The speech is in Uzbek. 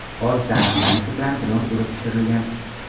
Hodisa aniqlanishi bilan dron urib tushirilgan.